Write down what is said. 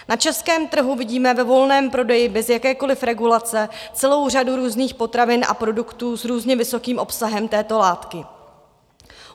Na českém trhu vidíme ve volném prodeji bez jakékoliv regulace celou řadu různých potravin a produktů s různě vysokým obsahem této látky.